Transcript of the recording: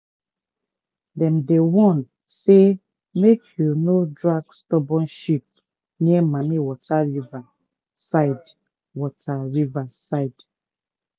dem dey warn say make you no drag stubborn sheep near mammie water river side water river side